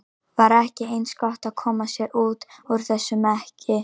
Var ekki eins gott að koma sér út úr þessum mekki?